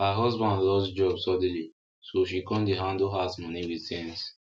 her husband lose job suddenly so she come dey handle house money with sense